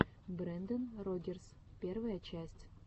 брендан рогерс первая часть